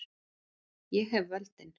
Ég hef völdin.